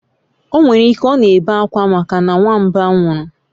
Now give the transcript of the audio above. Onwerike o n'ebe akwa maka na nwamba nwuru